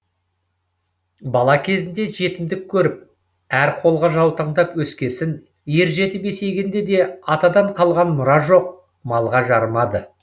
бала кезінде жетімдік көріп әр қолға жаутаңдап өскесін ер жетіп есейгенде де атадан қалған мұра жоқ малға жарымады